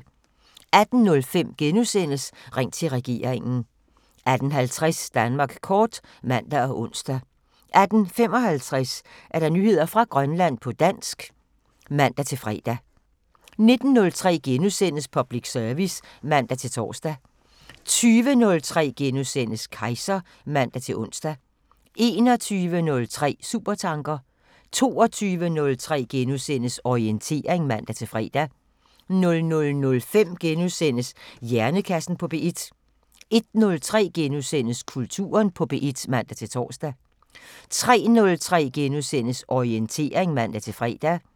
18:05: Ring til regeringen * 18:50: Danmark kort (man og ons) 18:55: Nyheder fra Grønland på dansk (man-fre) 19:03: Public service *(man-tor) 20:03: Kejser *(man-ons) 21:03: Supertanker 22:03: Orientering *(man-fre) 00:05: Hjernekassen på P1 * 01:03: Kulturen på P1 *(man-tor) 03:03: Orientering *(man-fre)